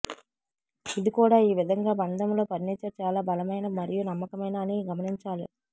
ఇది కూడా ఈ విధంగా బంధంలో ఫర్నిచర్ చాలా బలమైన మరియు నమ్మకమైన అని గమనించాలి